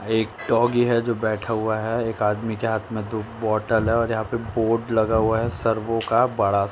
एक डॉगी है जो बैठा हुआ है एक आदमी के हाथ में दो बोतल हैं और यहाॅं पर बोर्ड लगा हुआ है सर्वो का बड़ा --